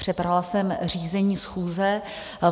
Přebrala jsem řízení schůze.